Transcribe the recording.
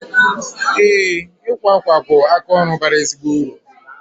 Ee, ịkwa akwa bụ aka ọrụ bara ezigbo uru